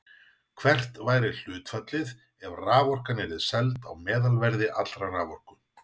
Hvert væri hlutfallið ef raforkan yrði seld á meðalverði allrar raforku?